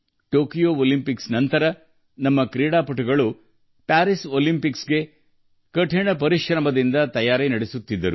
Tokyo ಒಲಿಂಪಿಕ್ಸ್ನ ನಂತರ ನಮ್ಮ ಕ್ರೀಡಾಪಟುಗಳು ಪ್ಯಾರಿಸ್ ಒಲಿಂಪಿಕ್ಸ್ನ ತಯಾರಿಯಲ್ಲಿ ಪೂರ್ಣ ಹೃದಯದಿಂದ ತೊಡಗಿಸಿಕೊಂಡಿದ್ದಾರೆ